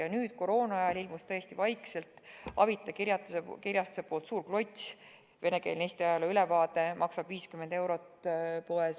Ja nüüd, koroonaajal tõesti ilmus vaikselt Avita kirjastuse välja antud suur klots, venekeelne Eesti ajaloo ülevaade, mis maksab poes 50 eurot.